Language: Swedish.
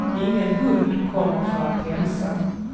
Ingen hund kommer för att hälsa.